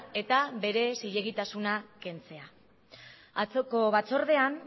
eta bere zilegitasuna kentzea atzoko batzordean